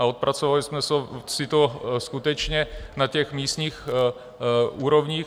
A odpracovali jsme si to skutečně na těch místních úrovních.